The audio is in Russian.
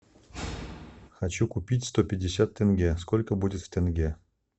хочу купить сто пятьдесят тенге сколько будет в тенге